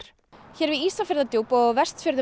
hér við Ísafjarðardjúp og á Vestfjörðum